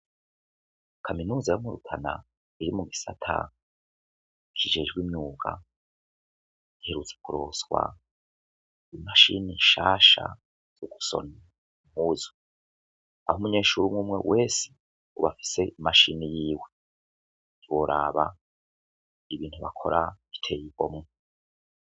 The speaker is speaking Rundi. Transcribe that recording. Kaminuza yo mu Rutana iri mu gisata kijejwe imyuga giherutse kuronswa i mashine nshasha yo gushona impuzu aho umenyeshure umwe umwe wese ubu afise i mashine yiwe.